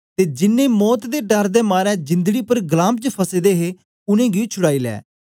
ते जिन्नें मौत दे डर दे मारे जिंदड़ी पर गलाम च फसे दे हे उनेंगी छुड़ाई लै